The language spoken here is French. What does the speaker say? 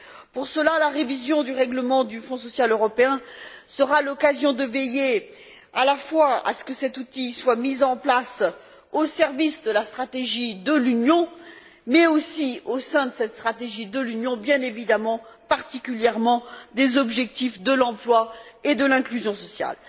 Pour cela, la révision du règlement du Fonds social européen sera l'occasion de veiller à la fois à ce que cet outil soit mis en place au service de la stratégie de l'Union, mais aussi au sein de cette stratégie de l'Union, bien évidemment, particulièrement des objectifs de l'emploi et de l'inclusion sociale.